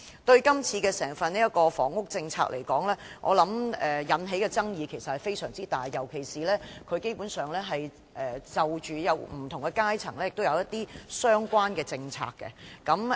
整份施政報告，以房屋政策來說，引起的爭議其實非常大，尤其是她基本上就不同的階層制訂相關的政策。